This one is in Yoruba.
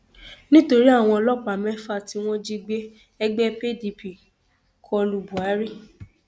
nítorí àwọn ọlọpàá mẹfà tí wọn jí gbé ẹgbẹ pdp kọ lu buhari